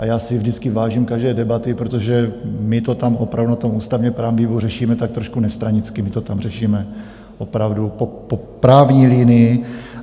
A já si vždycky vážím každé debaty, protože my to tam opravdu na tom ústavně-právním výboru řešíme tak trošku nestranicky, my to tam řešíme opravdu po právní linii.